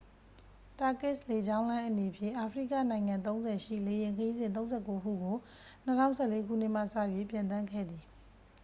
turkishလေကြောင်းလိုင်းအနေဖြင့် အာဖရိကနိုင်ငံ ၃၀ ရှိ လေယာဉ်ခရီးစဉ် ၃၉ ခုကို ၂၀၁၄ ခုနှစ်မှစ၍ ပျံသန်းခဲ့သည်။